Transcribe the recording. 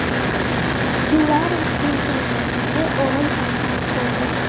Hillari Klintonning qizi o‘g‘il farzand ko‘rdi.